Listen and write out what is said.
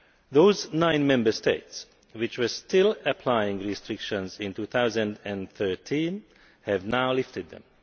Those nine Member States which were still applying restrictions in 2013 have now lifted them.